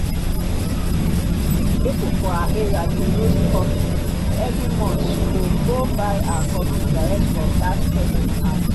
person for her area dey roast coffee. every month she go go buy her coffee direct from that person hand.